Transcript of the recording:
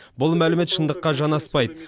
бұл мәлімет шындыққа жанаспайды